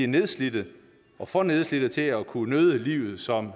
nedslidte og for nedslidte til at kunne nyde livet som